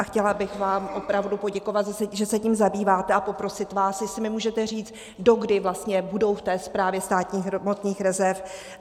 A chtěla bych vám opravdu poděkovat, že se tím zabýváte, a poprosit vás, jestli mi můžete říct, dokdy vlastně budou v té Správě státních hmotných rezerv.